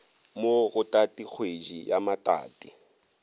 mo go tatikgwedi ya matati